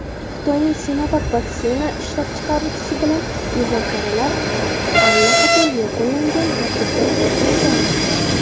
Xitoyning "Sinovak" vaksina ishlab chiqaruvchisi bilan muzokaralar allaqachon yakunlangan va bitim imzolangan.